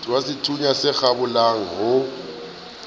wa sethunya se kgabolang o